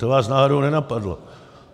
To vás náhodou nenapadlo?